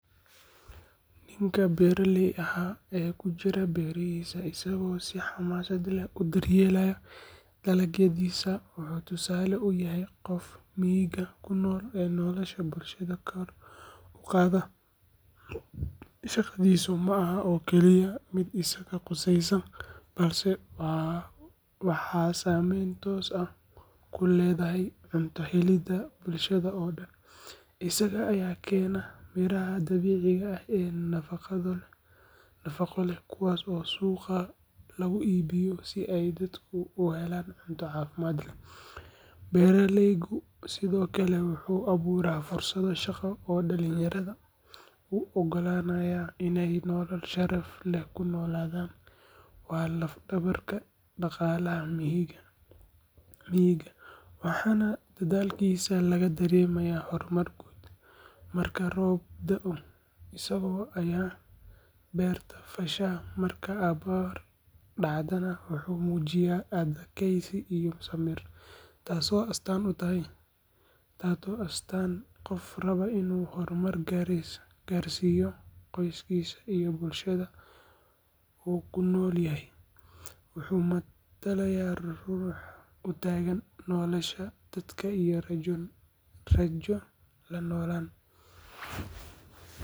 Ninkii beeraley ahaa ee ku jiray beerihiisa isagoo si xamaasad leh u daryeelaya dalagyadiisa wuxuu tusaale u yahay qofka miyiga ku nool ee nolosha bulshada kor u qaada. Shaqadiisu ma aha oo keliya mid isaga quseysa, balse waxay saameyn toos ah ku leedahay cunto helidda bulshada oo dhan. Isaga ayaa keena miraha dabiiciga ah ee nafaqo leh, kuwaas oo suuqa lagu iibiyo si ay dadku u helaan cunto caafimaad leh. Beeraleygu sidoo kale wuxuu abuuraa fursado shaqo oo dhalinyarada u oggolaanaya inay nolol sharaf leh ku noolaadaan. Waa laf-dhabarka dhaqaalaha miyiga, waxaana dadaalkiisa laga dareemaa horumar guud. Marka roob da’o, isaga ayaa beerta fasha, marka abaar dhacdana wuxuu muujiyaa adkaysi iyo samir, taasoo ah astaanta qofka raba inuu horumar gaarsiiyo qoyskiisa iyo bulshada uu ku nool yahay. Wuxuu matalayaa ruux u taagan nolosha, dadaalka iyo rajo la noolaan.